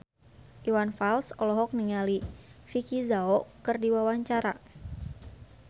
Iwan Fals olohok ningali Vicki Zao keur diwawancara